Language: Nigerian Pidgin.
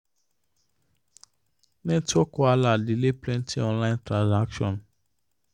network wahala delay plenty online transactions.